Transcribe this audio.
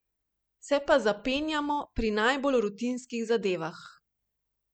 Se pa zapenjamo pri najbolj rutinskih zadevah.